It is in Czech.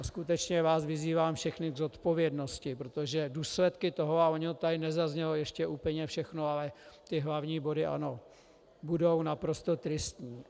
A skutečně vás vyzývám všechny k zodpovědnosti, protože důsledky toho, a ono to tady nezaznělo ještě úplně všechno, ale ty hlavní body ano, budou naprosto tristní.